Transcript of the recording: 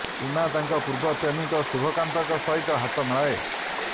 ସୀମା ତାଙ୍କ ପୂର୍ବ ପ୍ରେମିକ ଶୁଭକାନ୍ତଙ୍କ ସହିତ ହାତ ମିଳାଏ